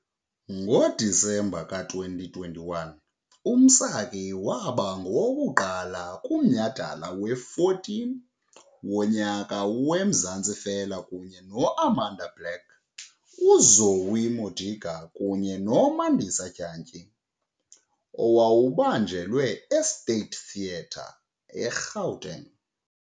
NgoDisemba ka-2021, uMsaki waba ngowokuqala kuMnyhadala we-14 woNyaka weMzansi Fela kunye no- Amanda Black, uZoë Modiga, kunye noMandisi Dyantyisa owawubanjelwe eState Theatre, eGuateng.